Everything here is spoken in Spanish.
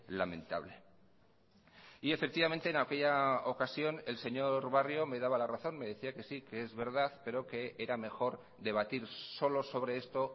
lamentable y efectivamente en aquella ocasión el señor barrio me daba la razón me decía que sí que es verdad pero que era mejor debatir solo sobre esto